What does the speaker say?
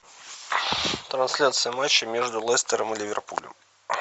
трансляция матча между лестером и ливерпулем